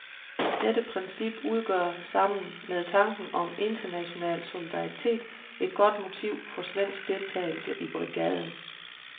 Dette princip udgør sammen med tanken om international solidaritet et godt motiv for svensk deltagelse i brigaden.